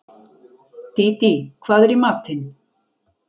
Dídí, hvað er í matinn?